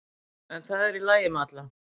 En það er í lagi með alla